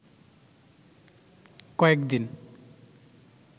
কয়েকদিন